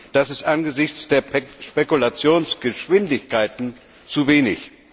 Das ist angesichts der Spekulationsgeschwindigkeiten zu wenig.